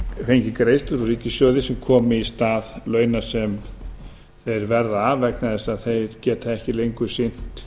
greiðslur úr ríkissjóði sem komi í stað launa sem þeir verða af vegna þess að þeir geta ekki lengur sinnt